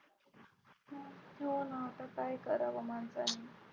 हो ना आता काय कराव माणसांनी.